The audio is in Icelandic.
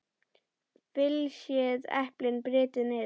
Flysjið eplin og brytjið niður.